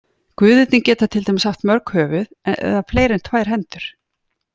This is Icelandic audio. Guðirnir geta til dæmis haft mörg höfuð eða fleiri en tvær hendur.